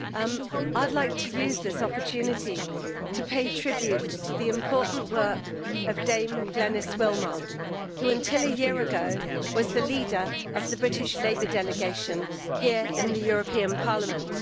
Madam President, I would like to use this opportunity to pay tribute to the important work of Dame Glenis Willmott, who until a year ago was the leader of the British Labour delegation here in the European Parliament.